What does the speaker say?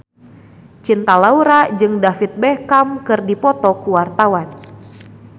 Cinta Laura jeung David Beckham keur dipoto ku wartawan